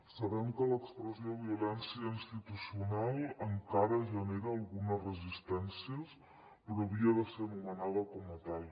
sabem que l’expressió violència institucional encara genera algunes resistències però havia de ser anomenada com a tal